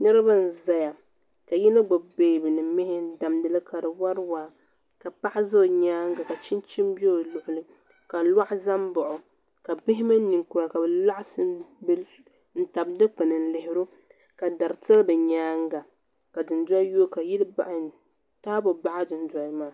Niriba n zaya ka yino gbibi beebi ni mihi n. damdili ka di wari waa ka paɣa za o nyaanga ka chinchini be o luɣuli ka nohi za m baɣi o ka bihi mini ninkura ka bɛ laɣasi n tabi dikpini n lihiri o ka dari tili bɛ nyaanga ka dundoli yoogi ka taabo baɣi dundoli maa.